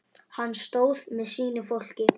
Hann stóð með sínu fólki.